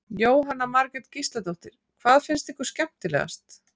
Jóhanna Margrét Gísladóttir: Hvað fannst ykkur skemmtilegast?